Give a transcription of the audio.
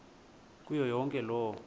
kuyo yonke loo